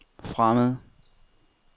fremmede